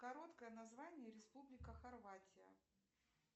короткое название республика хорватия